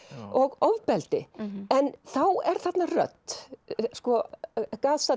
og ofbeldi en þá er þarna rödd sko